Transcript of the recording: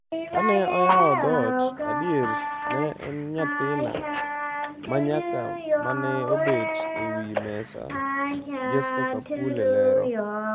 Kane oyawo dhot, adier ne en nyathina ma nyako mane obet ewi mesa' Jesca Kapule lero.